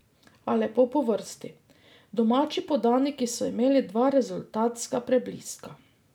A lepo po vrsti, domači podaniki so imeli dva rezultatska prebliska.